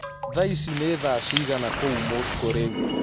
Thaaĩcĩ nĩ thaa cĩĩgana kũũ Moscow rĩũ